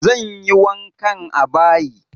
Zan yi wankan a bayi.